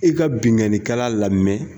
I ka binkanikɛla lamɛn.